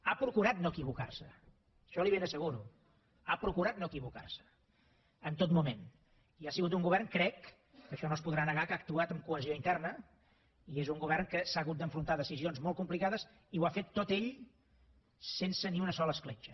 ha procurat no equivocar se això li ho ben asseguro ha procurat no equivocar se en tot moment i ha sigut un govern crec que això no es podrà negar que ha actuat amb cohesió interna i és un govern que s’ha hagut d’enfrontar a decisions molt complicades i ho ha fet tot ell sense ni una sola escletxa